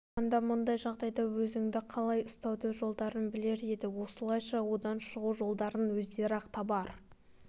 алғанда мұндай жағдайда өзіңді қалай ұстаудың жолдарын білер еді осылайша одан шығу жолдарын өздері-ақ табар